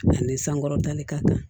Ani sankɔrɔtali ka ca